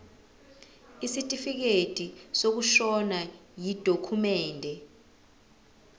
isitifikedi sokushona yidokhumende